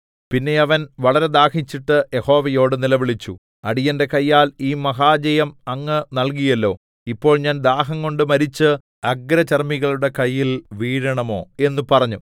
പിന്നെ അവൻ വളരെ ദാഹിച്ചിട്ട് യഹോവയോട് നിലവിളിച്ചു അടിയന്റെ കയ്യാൽ ഈ മഹാജയം അങ്ങ് നല്കിയല്ലോ ഇപ്പോൾ ഞാൻ ദാഹംകൊണ്ട് മരിച്ച് അഗ്രചർമ്മികളുടെ കയ്യിൽ വീഴേണമോ എന്ന് പറഞ്ഞു